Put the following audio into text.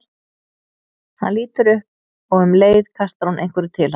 Hann lítur upp og um leið kastar hún einhverju til hans.